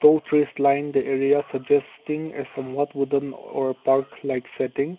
tall trees lined area suggesting a some what wooden or park like setting